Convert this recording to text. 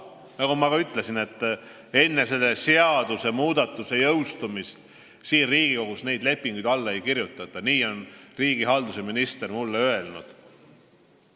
Nagu ma ka ütlesin, et enne selle seadusmuudatuse jõustumist siin Riigikogus neid lepinguid alla ei kirjutata, nii on riigihalduse minister mulle öelnud.